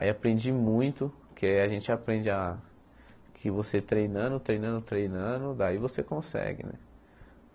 Aí aprendi muito, porque aí a gente aprende a que você treinando, treinando, treinando, daí você consegue, né?